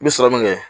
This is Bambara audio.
N bɛ sɔrɔ min kɛ